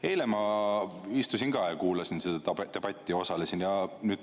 Eile ma istusin ka siin, kuulasin seda debatti ja osalesin.